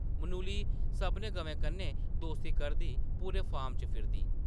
मनुली सभनें गवें कन्नै दोस्ती करदी पूरे फार्म च फिरदी ।